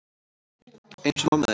Eins og mamma þín.